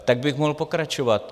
Tak bych mohl pokračovat.